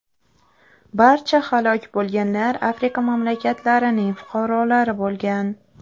Barcha halok bo‘lganlar Afrika mamlakatlarining fuqarolari bo‘lgan.